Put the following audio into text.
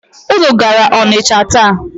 Unu gara Ọnịcha taa?